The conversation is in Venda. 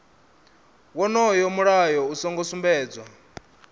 wonoyo mulayo u songo sumbedzwa